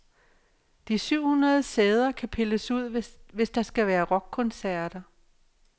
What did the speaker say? De syv hundrede sæder kan pilles ud, hvis der skal være rockkoncerter.